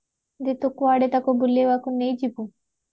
ଯେ ତୁ କୁଆଡେ ତାକୁ ବୁଲେଇବାକୁ ନେଇ ଯିବୁ